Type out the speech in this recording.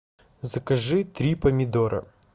закажи три помидора